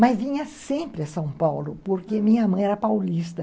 Mas vinha sempre a São Paulo, porque minha mãe era paulista.